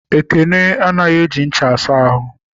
Ekene anaghị eji ncha asa ahụ.